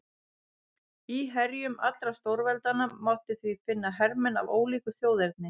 Í herjum allra stórveldanna mátti því finna hermenn af ólíku þjóðerni.